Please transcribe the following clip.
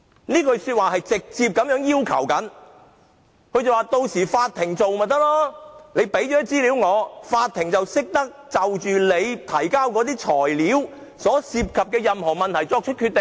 這句話直接要求由法庭處理，只要我們提交資料，法庭便懂得就我們提交的材料所涉及的任何問題作出決定。